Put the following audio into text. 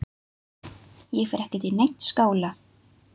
Ég fer ekkert í neinn skóla!